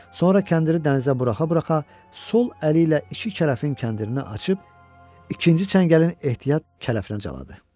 Sonra kəndiri dənizə buraxa-buraxa sol əli ilə iki kələfin kəndirini açıb ikinci çəngəlin ehtiyat kələfinə caladı.